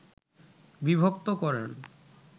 বিভক্ত করেন